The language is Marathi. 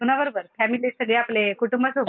कुणाबरोबर? फॅमिली सगळे आपले कुटुंबासोबत